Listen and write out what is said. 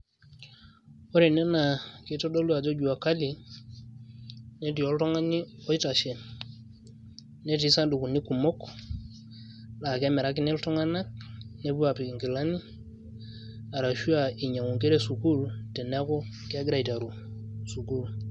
Ore ene naa kitodolu ajo jua kali, netii oltung'ani oitashe, netii sadukuni kumok la kemirakini iltung'anak, nepuo apik inkilani, arashu ah inyang'u inkera esukuul teneku kegira aiteru sukuul.